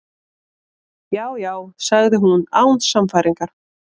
Já, já- sagði hún án sannfæringar.